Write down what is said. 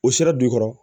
O sera dugu kɔrɔ